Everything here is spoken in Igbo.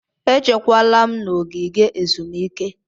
Echekwala m n'ogige ezumike!